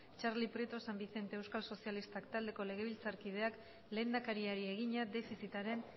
txarli prieto san vicente euskal sozialistak taldeko legebiltzarkideak lehendakariari egina defizitaren